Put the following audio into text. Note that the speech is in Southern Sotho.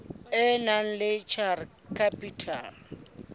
e nang le share capital